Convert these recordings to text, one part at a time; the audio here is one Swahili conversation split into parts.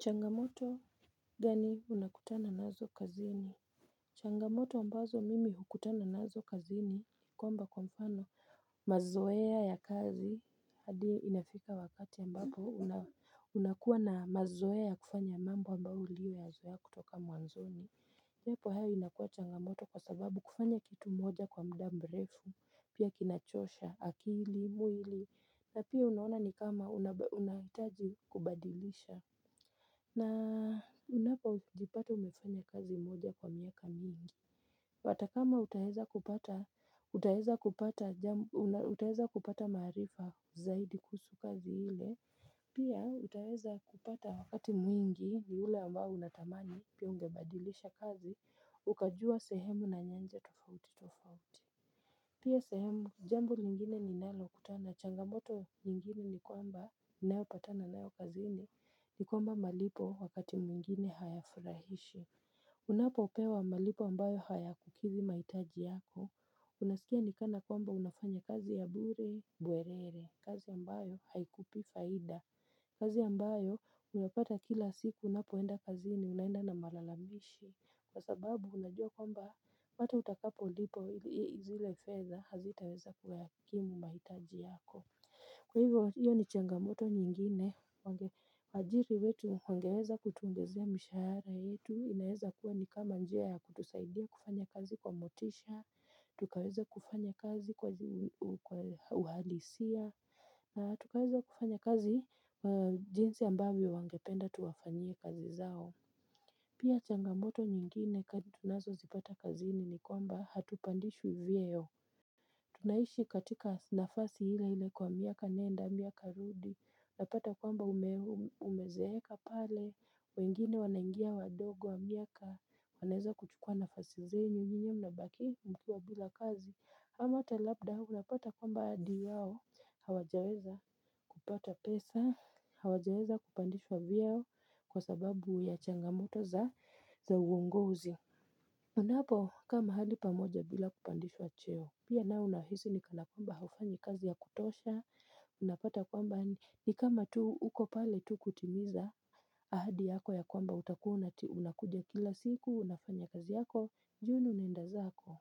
Changamoto gani unakutana nazo kazini changamoto ambazo mimi hukutana nazo kazini kwamba kwa mfano mazoea ya kazi hadi inafika wakati ambapo unakuwa na mazoea ya kufanya mambo ambayo uliyo yazoea kutoka muanzoni lepo hayo inakuwa changamoto kwa sababu kufanya kitu moja kwa mda mrefu pia kinachosha akili muili na pia unaona ni kama unahitaji kubadilisha na unapojipata umefanya kazi moja kwa miaka mingi Watakama utaheza kupata marifa zaidi kuhusu kazi hile Pia utaheza kupata wakati mwingi ni ule ambao unatamani pia ungebadilisha kazi Ukajua sehemu na nyanja tofauti tofauti Pia sehemu jambo lingine ninalokutana changamoto nyingine ni kwamba nayopatana nayo kazini ni kwamba malipo wakati muingine hayafrahishi Unapopewa malipo ambayo haya kukidhi maitaji yako Unasikia nikana kwamba unafanya kazi ya bure buerere kazi ambayo haikupi faida kazi ambayo unapata kila siku unapoenda kazini unaenda na malalamishi Kwa sababu unajua kwamba hata utakapolipwa ili zile fedha hazitaweza kuyakimu maitaji yako Kwa hivyo, hiyo ni changamoto nyingine, wajiri wetu wangeweza kutuongezea mishara yetu, inayeza kuwa ni kama njia ya kutusaidia kufanya kazi kwa motisha, tukaweza kufanya kazi kwa uhalisia, na tukaweza kufanya kazi kwa jinsi ambavyo wangependa tuwafanyie kazi zao. Pia changamoto nyingine kati tunazozipata kazini nikwamba hatupandishwi vyeo. Tunaishi katika nafasi hile hile kwa miaka nenda, miaka rudi, napata kwamba umezeeka pale, wengine wanaingia wadogo wa miaka, waneza kuchukua nafasi zenyu, nyinyi mnabaki mkiwa bila kazi, ama ata labda unapata kwamba hadi wao, hawajaweza kupata pesa, hawajaweza kupandishwa vyeo kwa sababu ya changamoto za uongozi. Unapokaa mahali pamoja bila kupandishwa cheo Pia nao unahisi ni kana kwamba haufanyi kazi ya kutosha Unapata kwamba ni kama tu uko pale tu kutimiza ahadi yako ya kwamba utakuwa unakuja kila siku Unafanya kazi yako, jioni unenda zako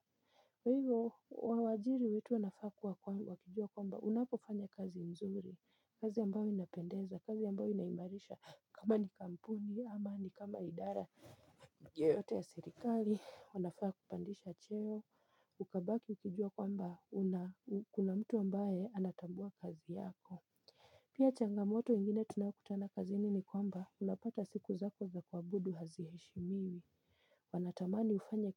kwa hivyo, wawajiri wetu wanafaa kuwa wakijua kwamba Unapofanya kazi mzuri, kazi ambao inapendeza kazi ambao inaimarisha kama ni kampuni, ama ni kama idara yoyote ya sirikali wanafaa kupandisha cheo, ukabaki ukijua kwamba kuna mtu ambaye anatambua kazi yako Pia changamoto ingine tunakutana kazini ni kwamba unapata siku zako za kuabudu haziheshimiwi Wanatamani ufanye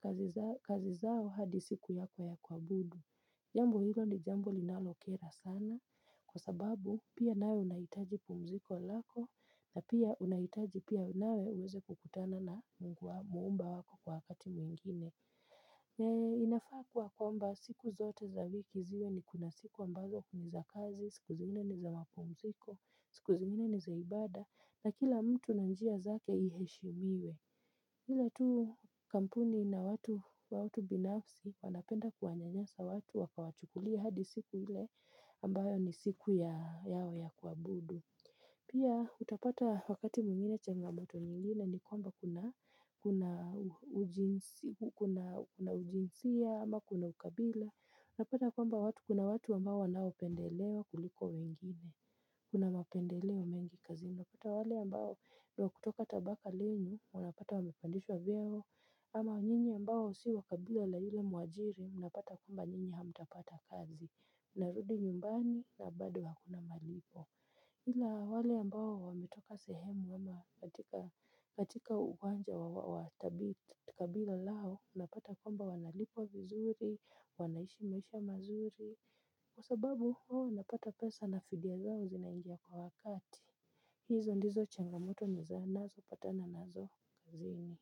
kazi zao hadi siku yako ya kuabudu Jambo hilo ni jambo linalokera sana kwa sababu pia nawe unahitaji pumziko lako na pia unahitaji pia nawe uweze kukutana na mungu wako mumba wako kwa wakati mwingine. Na inafaa kuwa kwamba siku zote za wiki ziwe ni kuna siku ambazo ni za kazi, siku zingine ni za mapumziko, siku zingine ni za ibada na kila mtu na njia zake iheshimiwe. Hila tu kampuni na watu binafsi wanapenda kuwanyanyasa watu wakawachukulia hadi siku hile ambayo ni siku yao ya kuabudu. Pia utapata wakati muingine changamoto nyingine ni kwamba kuna ujinsia ama kuna ukabila. Napata kwamba watu kuna watu ambao wanaopendelewa kuliko wengine. Kuna mapendeleo mengi kazini. Unapata wale ambao wakutoka tabaka lenyu, wanapata wamepandishwa vyeo. Ama nyinyi ambao si wakabila la hile muajiri, mnapata kwamba nyinyi hamutapata kazi. Narudi nyumbani, nabado hakuna malipo. Hila wale ambao wametoka sehemu ama katika uwanja wa tabi kabila lao, unapata kumba wanalipo vizuri, wanaishi maisha mazuri. Kwa sababu, wawo wnapata pesa na fidia zao zinaingia kwa wakati. Hizo ndizo changamoto ndizo anazopatana nazo kazini.